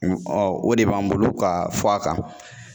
o de b'an bolo ka fɔ a kan.